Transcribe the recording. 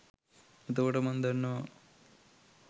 එතකොට මං දන්නවා